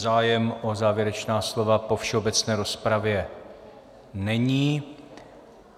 Zájem o závěrečná slova po všeobecné rozpravě není.